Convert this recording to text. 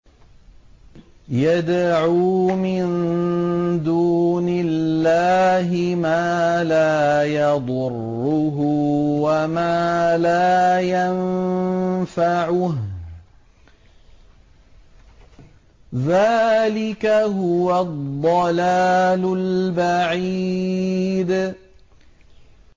يَدْعُو مِن دُونِ اللَّهِ مَا لَا يَضُرُّهُ وَمَا لَا يَنفَعُهُ ۚ ذَٰلِكَ هُوَ الضَّلَالُ الْبَعِيدُ